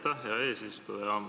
Aitäh, hea eesistuja!